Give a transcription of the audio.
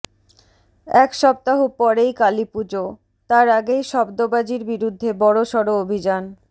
এক সপ্তাহ পরেই কালি পুজো তার আগেই শব্দবাজির বিরুদ্ধে বড়সড় অভিযান